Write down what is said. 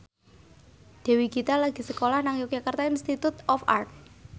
Dewi Gita lagi sekolah nang Yogyakarta Institute of Art